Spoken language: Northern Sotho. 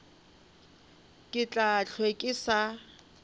ke tla hlwe ke sa